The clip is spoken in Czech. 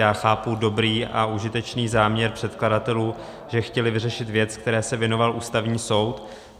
Já chápu dobrý a užitečný záměr předkladatelů, že chtěli vyřešit věc, které se věnoval Ústavní soud.